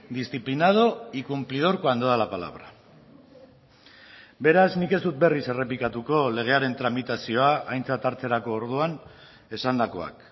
disciplinado y cumplidor cuando da la palabra beraz nik ez dut berriz errepikatuko legearen tramitazioa aintzat hartzerako orduan esandakoak